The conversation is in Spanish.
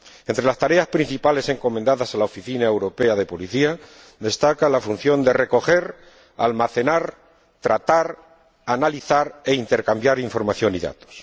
Entre las tareas principales encomendadas a la Oficina Europea de Policía destaca la función de recoger, almacenar, tratar, analizar e intercambiar información y datos.